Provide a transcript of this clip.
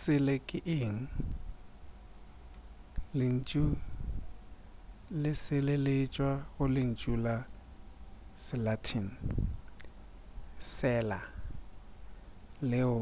sele ke eng lentšu le sele le tšwa go lentšu la se latin cella leo